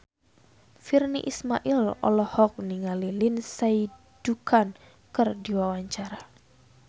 Virnie Ismail olohok ningali Lindsay Ducan keur diwawancara